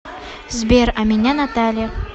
сбер а меня наталья